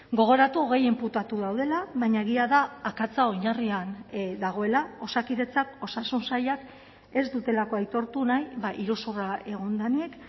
gogoratu hogei inputatu daudela baina egia da akatsa oinarrian dagoela osakidetzak osasun sailak ez dutelako aitortu nahi iruzurra egon denik